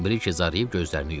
Brike zarıyıb gözlərini yumdu.